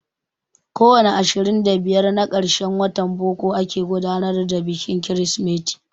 Ko wani ashirin da biyar na karshen watan boko ake gudanar da bikin Kirsimeti.